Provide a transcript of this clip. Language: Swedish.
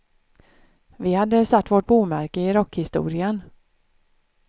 Vi hade satt vårt bomärke i rockhistorien.